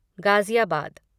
Ghaziabad